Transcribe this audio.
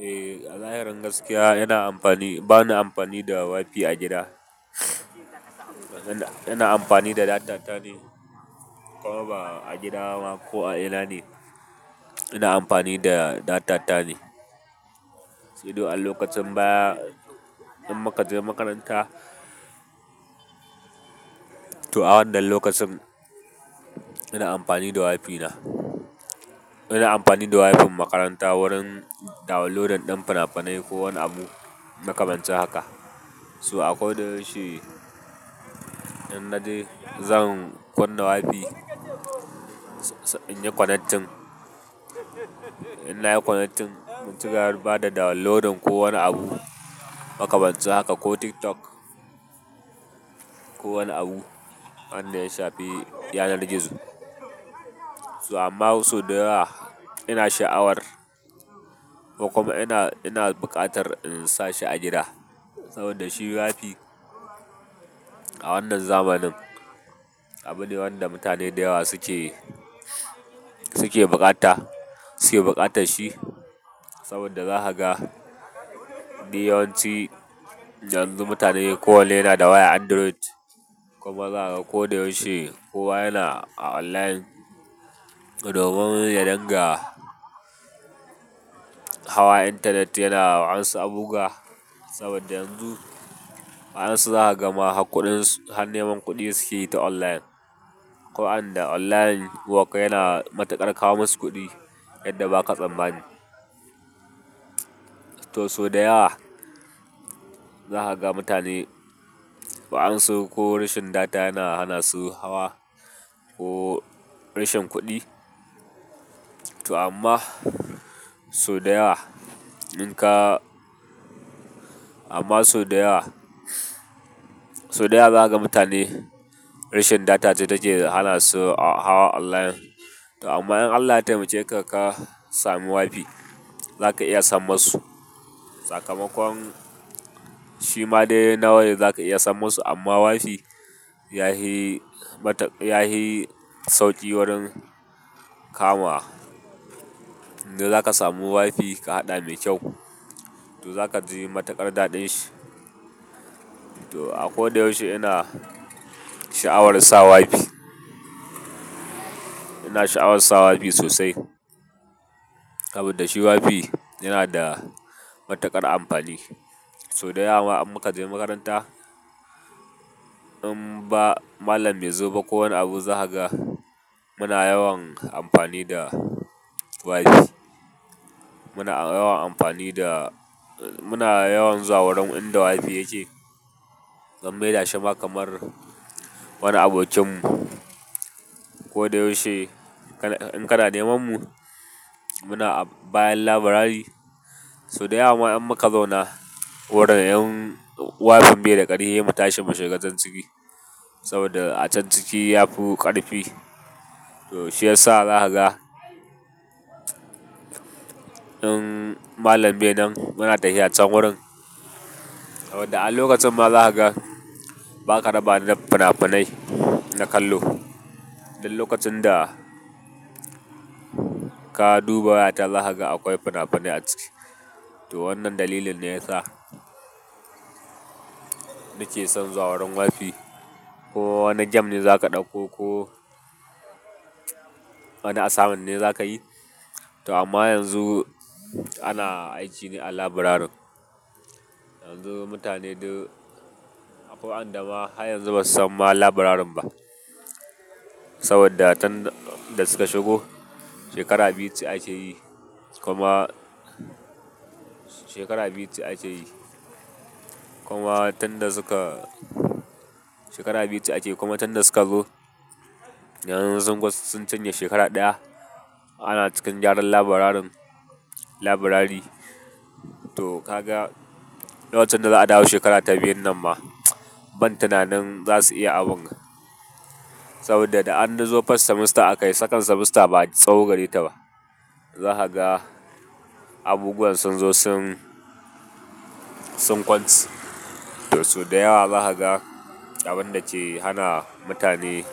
Eh, a zahirin gaskiya yana amfani, bana amfani da WiFi a gida. Ina amfani da data ta ne. Kuma ba a gida bana, ko a ina ne, ina amfani da data ta ne. Sai dai a lokacin baya, in muka je makaranta, to a wannan lokacin, ina amfani da WiFi na ina amfani da WiFin makaranta wurin downloading ɗin finafinai ko wani abu, makamancin haka. To a ko da yaushe in na je, zan kunna WiFi, in yi connecting. In na yi connectin, mu cigaba da downloadin ko wani abu makamancelin haka, ko TikTok ko wani abu wanda ya shafi yanar gizo. To amma sau da yawa ina sha'awar ko kuma ina, ina buƙatar in sa shi a gida saboda shi WiFi a wannan zamanin abu ne wanda mutane da yawa suke, suke buƙata, suke buƙatar shi. Saboda zaka ga, duk yawanci yanzu mutane kowanne yana da wayan Android kuma zaka ga ko da yaushe kowa yana a online. Domin ya dinga hawa intanet yana wasu abubuwa. Saboda yanzu waƴansu zaka ga ma har kuɗin, har neman kuɗi suke yi ta online. Akwai wan lda online work, yana matuƙar kawo masu kuɗi yadda ba ka tsammani. To sau da yawa zaka ga mutane waƴansu ko rashin data yana hana su hawa ko rashin kuɗi. To amma sau da yawa in ka, amma sau da yawa, sau da yawa zaja ga mutane rashin data ce take hana su a hawa online. To amma in Allah ya taimake ka ka samu WiFi, zaka iya sam masu. Sakamakon shi ma dai na wayar zaka iya san musu amma WiFi yafi mata, yafi sauƙi wurin kama. In dai zaka samu WiFi ka haɗa mai kyau, to zaka ji matuƙar daɗin shi. To a ko da yaushe ina sha'awar sa WiFi. Ina sha'awar sa WiFi sosai saboda shi WiFi yana da matukar amfani. Sau da yawa ma alin muka je makaranta in ba malam bai zo ba ko wani abu zaka ga, muna yawan amfani da WiFi. Muna yawan amfani da, muna yawan zuwa wurin inda WiFi yake. Mun maida shi ma kamar wani abokinmu. Ko da yaushe in kana neman mu muna a bayan labirari. Sau da yawa ma in muka zauna wurin in WiFin bai da ƙarfi sai mu tashi mu shiga can ciki. Saboda a can ciki ya fi ƙarfi. To shiyasa zaka ga in malam bai nan muna tafiya can wurin. Saboda a lokacin ma zaka ga ba ka raba da finafinai na kallo. Duk lokacin da ka duba wayata zaka ga akwai finafinai a ciki. To wannan dalilin ne yasa nake son zuwa wurin wifi, ko wani game ne zaka ɗauko ko wani assignment ne zaka yi to amma yanzu ana aiki ne a labirarin. Yanzu mutane duk, akwai waƴanda ma har yanzu basu san ma labirarin ba. Saboda tunda suka shigo shekara biyu ce ake yi kuma, shekara biyu ce ake yi kuma tunda suka, shekara biyu ce ake yi kuma tunda suka zo, yanzu sun kusa, sun cinye shekara ɗaya. Ana cikin gyaran labirarin, labirari. To ka ga lokacin da za a dawo shekara ta biyun nan ma ban tunanin za su iya abun. Saboda da an zo first semester aka yi, second semester ba tsawo gare ta ba. Zaka ga abubuwan sun zo sun, sun kwance. To sau da yawa zaka ga abun da ke hana mutane,